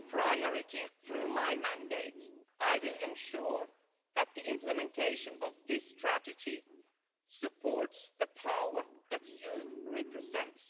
A key priority through my mandate, I will ensure that the implementation of this strategy supports the power that youth represents.